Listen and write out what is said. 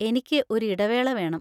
എനിക്ക് ഒരു ഇടവേള വേണം.